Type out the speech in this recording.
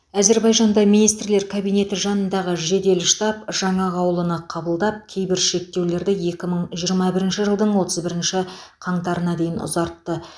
әзербайжанда министрлер кабинеті жанындағы жедел штаб жаңа қаулыны қабылдап кейбір шектеулерді екі мың жиырма бірінші жылдың отыз бірінші қаңтарына дейін ұзартты